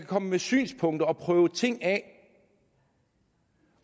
komme med synspunkter og prøve ting af